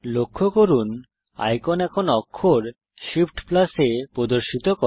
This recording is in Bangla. লক্ষ্য করুন আইকন এখন অক্ষর Shift A প্রদর্শিত করে